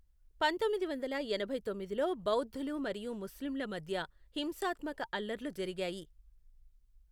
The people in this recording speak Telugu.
పంతొమ్మిది వందల ఎనభై తొమ్మిదిలో బౌద్ధులు మరియు ముస్లింల మధ్య హింసాత్మక అల్లర్లు జరిగాయి.